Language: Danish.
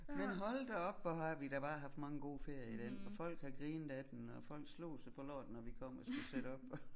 Men hold da op hvor har vi da bare haft mange gode ferier i dén og folk har grinet af den og folk slog sig på låret når vi kom og skulle sætte op